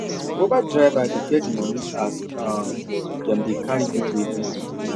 uber drivers dey get money as um them dey carry people everyday